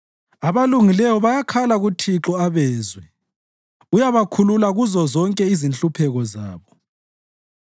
Abalungileyo bayakhala kuThixo abezwe; uyabakhulula kuzozonke inhlupheko zabo.